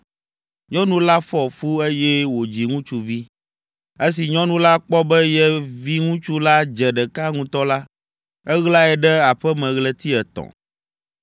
Nyɔnu la fɔ fu, eye wòdzi ŋutsuvi. Esi nyɔnu la kpɔ be ye viŋutsu la dze ɖeka ŋutɔ la, eɣlae ɖe aƒe me ɣleti etɔ̃.